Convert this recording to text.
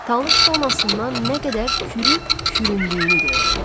Talış zonasından nə qədər kürü küründüyünü görür.